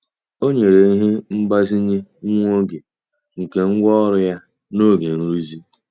Ọ nyere ihe mgbazinye nwa oge nke ngwá ọrụ ya n'oge nrụzi.